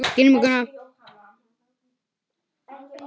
Grímur og Gunnar.